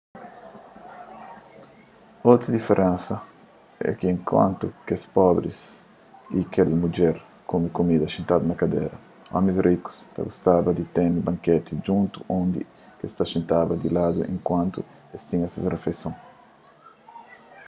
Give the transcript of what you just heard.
otu diferensa é ki enkuantu kes pobris y kel mudjer kume kumida xintadu na kadera omis rikus ta gostaba di ten banketi djuntu undi ki es ta xintaba di ladu enkuantu es ta tinha ses rifeison